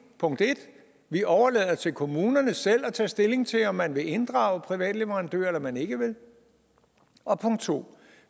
punkt 1 vi overlader det til kommunerne selv at tage stilling til om man vil inddrage private leverandører eller om man ikke vil og punkt 2